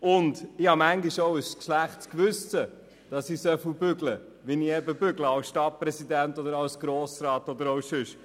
Auch habe ich manchmal ein schlechtes Gewissen, dass ich so viel arbeite als Stadtpräsident, als Grossrat oder auch sonst.